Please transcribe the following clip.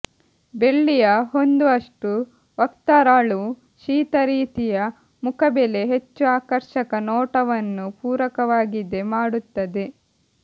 ಬೆಳ್ಳಿಯ ಹೊಂದುವಷ್ಟು ವಕ್ತಾರಳು ಶೀತ ರೀತಿಯ ಮುಖಬೆಲೆ ಹೆಚ್ಚು ಆಕರ್ಷಕ ನೋಟವನ್ನು ಪೂರಕವಾಗಿದೆ ಮಾಡುತ್ತದೆ